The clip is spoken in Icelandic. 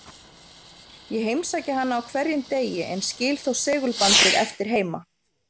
Ég heimsæki hana á hverjum degi, en skil þó segulbandið eftir heima.